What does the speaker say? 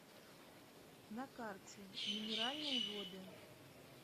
на карте минеральные воды